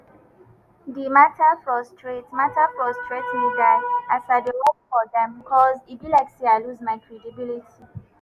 di mata frustrate mata frustrate me die as i dey work for dem cos e be like say i lose my credibility.